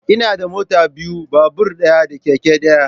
Ina da mota biyu, babur ɗaya da keke ɗaya